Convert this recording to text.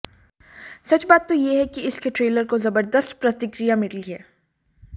सच बात तो यह है कि इसके ट्रेलर को जबरदस्त प्रतिक्रिया मिली है